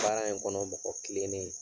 Baara in kɔnɔ mɔgɔ kilennen ye.